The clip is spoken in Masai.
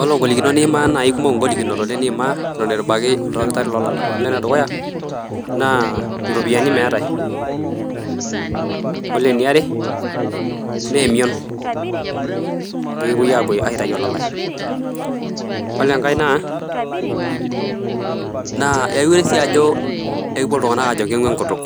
Olo ingolikinot niimaa naa ikumok ingolikinot oleng niimaa eton itu ibaki oldakitarri lolala olo enedukuya naa iropiani meetae olo eniare neemion peekipuoi apuo aitai olalae olo enkae naa aiure sii ajo ekipuo iltung'anak aajo keng'u enkutuk